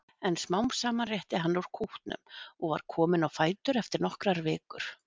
En smám saman rétti hann úr kútnum og var kominn á fætur eftir nokkrar vikur.